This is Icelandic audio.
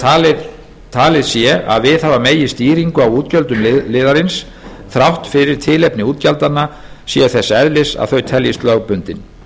hvort talið sé að viðhafa megi stýringu á útgjöldum liðarins þrátt fyrir að tilefni útgjaldanna séu þess eðlis að þau teljist lögbundin